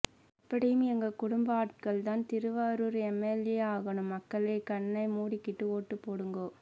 எப்படியும் எங்க குடும்ப ஆட்கள்தான் திருவாரூர் எம் எல் எ ஆகணும் மக்களெ கண்ணைமூடிக்கிட்டு ஓட்டுப்போடுங்கோ